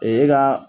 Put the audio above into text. Ee e ka